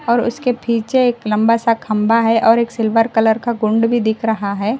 और उसके पीछे एक लंबा सा खंबा है और एक सिल्वर कलर का कुंड भी दिख रहा है।